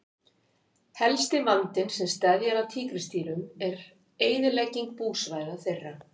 Helsti vandinn sem steðjar að tígrisdýrum er eyðilegging búsvæða þeirra.